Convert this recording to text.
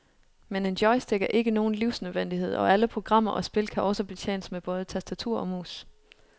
Men en joystick er ikke nogen livsnødvendighed, og alle programmer og spil kan også betjenes med både tastatur og mus.